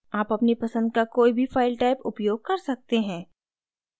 आप अपनी पसंद का कोई भी file type उपयोग कर सकते हैं